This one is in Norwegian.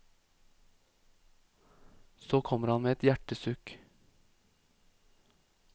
Så kommer han med et hjertesukk.